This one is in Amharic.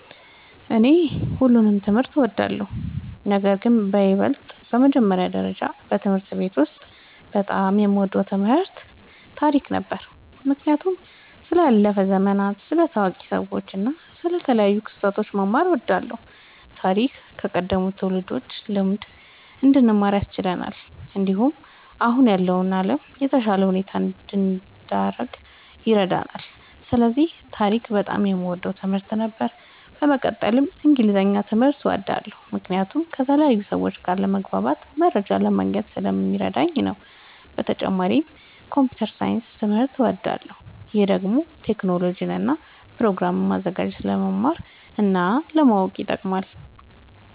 እኔ ሁሉንም ትምህርት እወዳለሁ፤ ነገርግን በይበልጥ በመጀመሪያ ደረጃ በትምህርት ቤት ውስጥ በጣም የምወደው ትምህርት ታሪክ ነበር። ምክንያቱም ስለ ያለፉ ዘመናት፣ ስለ ታዋቂ ሰዎች እና ስለ ተለያዩ ክስተቶች መማር እወድ ነበር። ታሪክ ከቀደሙት ትውልዶች ልምድ እንድንማር ያስችለናል፣ እንዲሁም አሁን ያለውን ዓለም በተሻለ ሁኔታ እንድንረዳ ይረዳናል። ስለዚህ ታሪክ በጣም የምወደው ትምህርት ነበር። በመቀጠልም እንግሊዝኛ ትምህርት እወዳለሁ ምክንያቱም ከተለያዩ ሰዎች ጋር ለመግባባትና መረጃ ለማግኘት ስለሚረዳኝ ነዉ። በተጨማሪም ኮምፒዉተር ሳይንስ ትምህርትም እወዳለሁ። ይህ ደግሞ ቴክኖሎጂን እና ፕሮግራም ማዘጋጀትን ለመማር እና ለማወቅ ይጠቅማል።